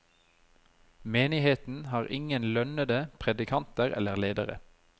Menigheten har ingen lønnende predikanter eller ledere.